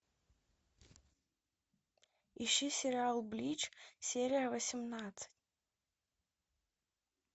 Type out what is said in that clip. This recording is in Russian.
ищи сериал блич серия восемнадцать